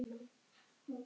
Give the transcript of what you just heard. En hver eru þau?